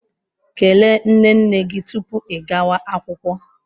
Kelee nne nne gị tupu ị gawa akwụkwọ.